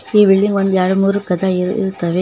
ಈ ಬಿಲ್ಡಿಂಗ್ ಒಂದು ಎರಡ್ಮೂರು ಕದ ಇರುತ್ತವೆ.